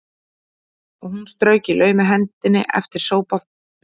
Og hún strauk í laumi hendi eftir sófaborðinu meðan hún hlustaði á